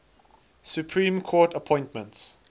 supreme court appointments